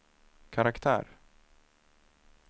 karaktär